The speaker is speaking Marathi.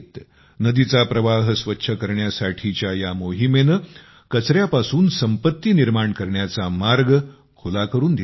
नदीचा प्रवाह स्वच्छ करण्यासाठीच्या या मोहिमेने कचऱ्यापासून संपत्ती निर्माण करण्याचा मार्ग खुला करून दिला आहे